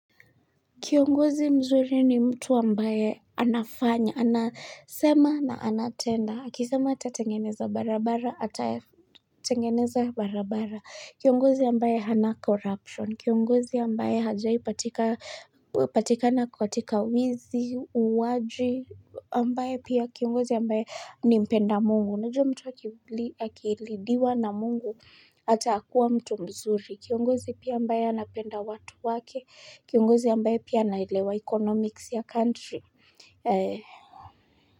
Kiongozi mzuri ni mtu ambaye anafanya, anasema na anatenda, akisema atatengeneza barabara, atatengeneza barabara, kiongozi ambaye hana corruption, kiongozi ambaye hajai patikana katika wizi, uwaji, ambaye pia kiongozi ambaye ni mpenda mungu. Unajua mtu wakilidiwa na mungu atakuwa mtu mzuri. Kiongozi pia ambaye anapenda watu wake. Kiongozi ambaye pia anaelewa economics ya country.